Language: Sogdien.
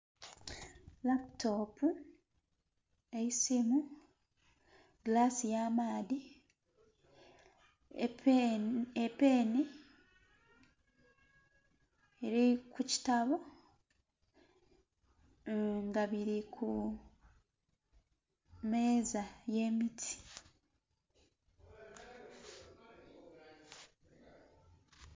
Laputopu, eisimu, gilaasi ya maadhi, epeni eri ku kitabo nga biri ku meeza ye miti.